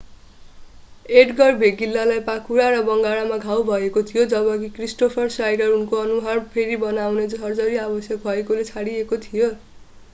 एड्गर भेगिल्लालाई पाखुरा र बङ्गारामा घाउ भएको थियो जबकि क्रिस्टोफर स्नाइडर उनको अनुहार फेरि बनाउने सर्जरी आवश्यक भएकाले छोडिएका थिए